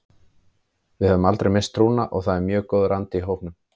Við höfum aldrei misst trúna og það er mjög góður andi í hópnum.